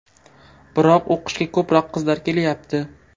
Biroq o‘qishga ko‘proq qizlar kelayapti.